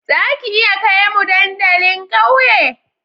Za ka iya kai mu dandalin ƙauye?